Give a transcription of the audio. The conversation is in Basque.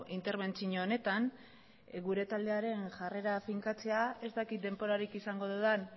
interbentzio honetan gure taldearen jarrera finkatzea ez dakit denborarik izango dudan